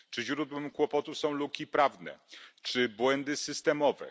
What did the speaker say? Czy źródłem kłopotów są luki prawne czy błędy systemowe?